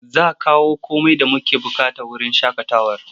Za a kawo komai da muke buƙata wurin shaƙatawar.